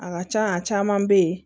A ka ca a caman bɛ yen